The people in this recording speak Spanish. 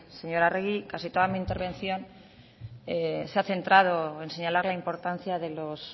señora arregi casi toda mi intervención se ha centrado en señalar la importancia de los